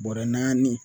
Bɔrɛ naani